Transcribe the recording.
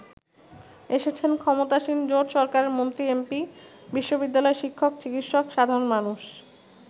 এসেছেন ক্ষমতাসীন জোট সরকারের মন্ত্রী-এমপি, বিশ্ববিদ্যালয় শিক্ষক, চিকিৎসক, সাধারণ মানুষ।